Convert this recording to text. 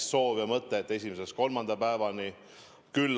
Te soovisite hüvitamist 1.–3. päevani.